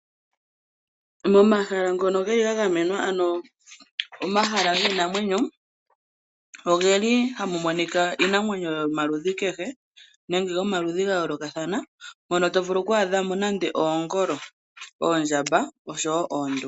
Momahala ngono geli ga gamenwa ano omahala giinamwenyo ogeli ha mu monika iinamwenyo yomaludhi kehe nenge yomaludhi ga yoolokathana mono to vulu okwaadhamo nande oongolo, oondjamba oshowo oonduli.